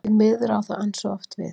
Því miður á það ansi oft við.